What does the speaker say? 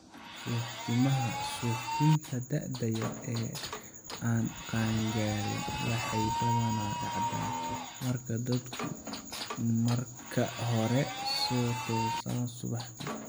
Suuxdinaha suuxdinta da'da yar ee aan qaan-gaarin waxay badanaa dhacdaa marka dadku marka hore soo toosaan subaxdii.